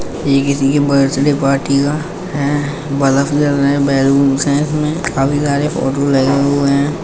ये किसी के बर्थडे पार्टी का हैं ब्लफ जल रहे हैं बैलूनस हैं इसमें काफी सारे फ़ोटो लगे हुए हैं।